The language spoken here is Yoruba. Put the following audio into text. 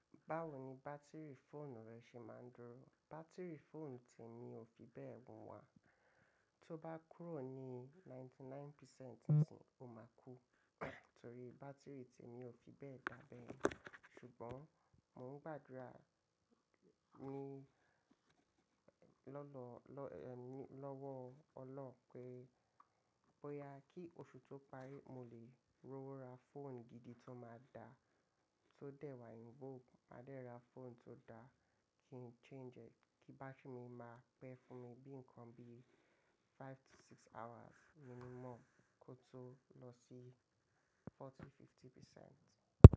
Báwo ni bátìrì fóònù rẹ ṣe máa ń dúró? Bátìrì fóònù ti èmi ò fi bẹ́ẹ̀ wù. Tó bá kúrò ní ìdá mọ́kàndínlọ́gọ́rùn-ún o máa kú. Torí bátìrì tí èmi ò fi bẹ́ẹ̀ dá bẹ́. Ṣùgbọ́n mò ń gbàdúrà ní lọ́dọ lọ ní lọ́wọ́ Ọlọ́hun pé bóyá kí oṣù tó parí, mo lè rówó ra fóònù gidi tó máa da, tó dẹ́ wà yín bó. Màá dẹ́ ra fóònù tó da kí n change ẹ. Kí bátìrì mi máa pẹ́ fún mi. Bí nǹkan bí five to six hours minimum kó tó lọ sí ogójì, ìdá àádọ́ta.